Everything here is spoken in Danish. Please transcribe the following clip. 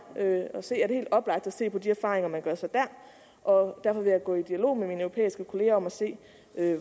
at se er det helt oplagt at se på de erfaringer man gør sig der og derfor vil jeg gå i dialog med mine europæiske kolleger om at se